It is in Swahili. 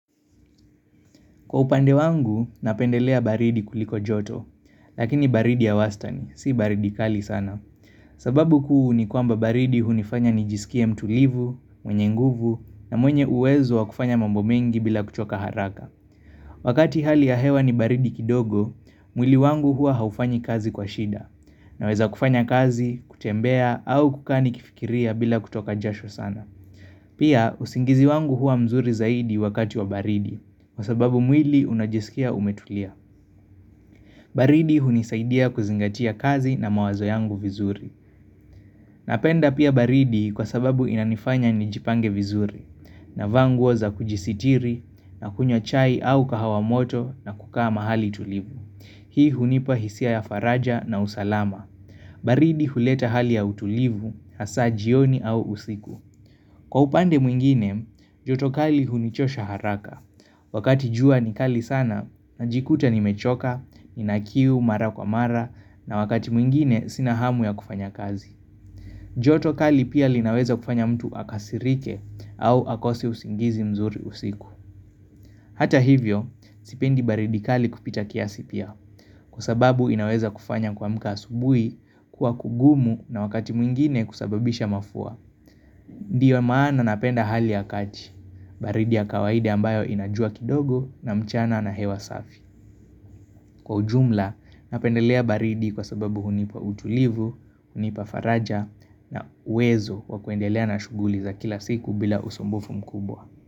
Kwa upande wangu, napendelea baridi kuliko joto, lakini baridi ya wastani, si baridi kali sana. Sababu kuu ni kwamba baridi hunifanya nijisikie mtulivu, mwenye nguvu, na mwenye uwezo wakufanya mambo mengi bila kuchoka haraka. Wakati hali ya hewa ni baridi kidogo, mwili wangu huwa haufanyi kazi kwa shida, naweza kufanya kazi, kutembea, au kukaa ni kifikiria bila kutoka jasho sana. Pia usingizi wangu huwa mzuri zaidi wakati wa baridi. Kwa sababu mwili unajisikia umetulia. Baridi hunisaidia kuzingatia kazi na mawazo yangu vizuri. Napenda pia baridi kwa sababu inanifanya nijipange vizuri. Navaa nguo za kujisitiri na kunywa chai au kahawa moto na kukaa mahali tulivu. Hii hunipa hisia ya faraja na usalama. Baridi huleta hali ya utulivu, hasa jioni au usiku. Kwa upande mwingine, joto kali hunichosha haraka. Wakati jua ni kali sana, najikuta ni mechoka, ni nakiu, mara kwa mara, na wakati mwingine sina hamu ya kufanya kazi. Joto kali pia linaweza kufanya mtu akasirike au akose usingizi mzuri usiku. Hata hivyo, sipendi baridi kali kupita kiasipia. Kwa sababu inaweza kufanya kuamka asubuhi, kuwa kugumu na wakati mwingine kusababisha mafua. Ndiyo maana napenda hali ya kati, baridi ya kawaida ambayo inajua kidogo na mchana na hewa safi. Kwa ujumla, napendelea baridi kwa sababu hunipa ujulivu, hunipa faraja na uwezo wakuendelea na shughuli za kila siku bila usumbufu mkubwa.